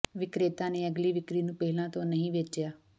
ਵਿਕਰੇਤਾ ਨੇ ਅਗਲੀ ਵਿਕਰੀ ਨੂੰ ਪਹਿਲਾਂ ਤੋਂ ਨਹੀਂ ਵੇਚਿਆ